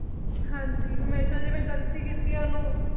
ਹਾਂਜੀ ਹਮੇਸ਼ਾ ਜਿਵੇਂ ਗਲਤੀ ਕੀਤੀ ਉਹਨੂੰ।